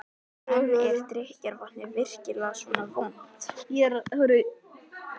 En er drykkjarvatnið virkilega svona vont?